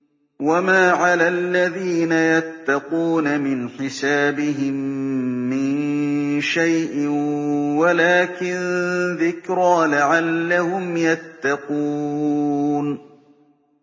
وَمَا عَلَى الَّذِينَ يَتَّقُونَ مِنْ حِسَابِهِم مِّن شَيْءٍ وَلَٰكِن ذِكْرَىٰ لَعَلَّهُمْ يَتَّقُونَ